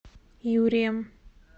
юрием